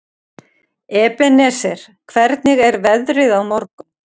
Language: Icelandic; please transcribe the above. Ebeneser, hvernig er veðrið á morgun?